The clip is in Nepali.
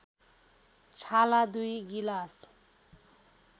छाला २ गिलास